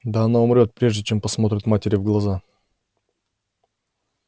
да она умрёт прежде чем посмотрит матери в глаза